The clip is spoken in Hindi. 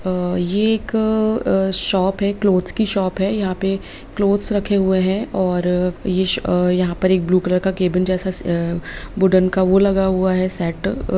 अ यह एक शॉप है क्लोथ्स की शॉप है यहाँ पे क्लोथ्स रखे हुए हैं और ये यहाँ पर एक ब्लू कलर का केबिन जैसा वुडेन का वो लगा हुआ है सेट ।